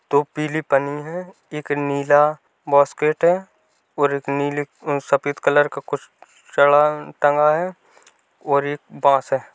पीली पन्नी है। एक नीला बॉस्केट है और एक नीली सफ़ेद कलर का कुछ चड़ा टंगा है और एक बांस --